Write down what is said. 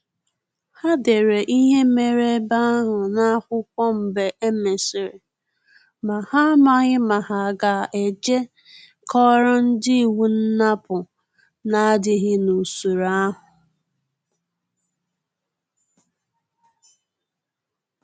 Ha dere ihe mere ebe ahụ n’akwụkwọ mgbe e mesịrị, ma ha amaghi ma ha ga-eje koro ndi iwu nnapu na-adịghị n’usoro ahụ